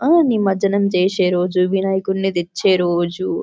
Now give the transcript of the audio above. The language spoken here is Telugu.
ఆ నిమజ్జనం చేసే రోజు వినాయకుని తెచ్చే రోజు --